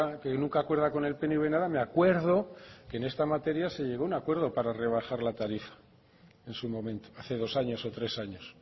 que nunca acuerda con el pnv nada me acuerdo que en esta materia se llegó a un acuerdo para rebajar la tarifa en su momento hace dos años o tres años